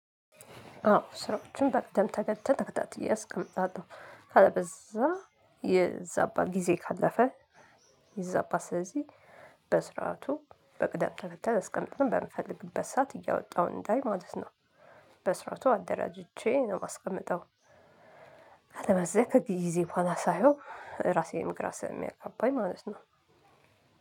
አዎ ስራዎችን በቅደም ተከተል ተከታትዬ አስቀምጣለሁ ያለበለዚያ ይዛባል ጊዜ ካለፈ። ይዛባል ስለዚህ በስርዓቱ በቅደም ተከተል አስቀምጠን በምፈልግበት ሰዓት እያወጣሁ እንዳይ ማለት ነው። በስርዓቱ አደራጅቼ ነው የማስቀምጠው። አለበለዚያ ከጊዜ በኋላ ሳየው ራሴንም ግራ ስለሚያጋባኝ ማለት ነው።